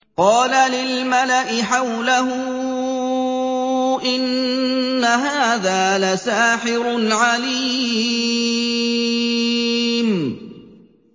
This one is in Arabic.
قَالَ لِلْمَلَإِ حَوْلَهُ إِنَّ هَٰذَا لَسَاحِرٌ عَلِيمٌ